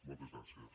moltes gràcies